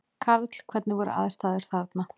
Karl: Hvernig voru aðstæður þarna?